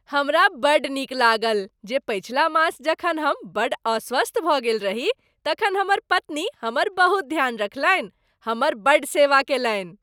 हमरा बड़ नीक लागल जे पछिला मास जखन हम बड़ अस्वस्थ भऽ गेल रही तखन हमर पत्नी हमर बहुत ध्यान रखलनि, हमर बड़ सेवा कयलनि।